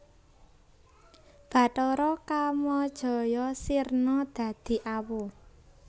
Bathara Kamajaya sirna dadi awu